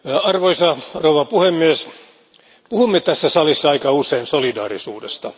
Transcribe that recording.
Arvoisa puhemies, puhumme tässä salissa aika usein solidaarisuudesta.